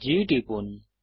G টিপুন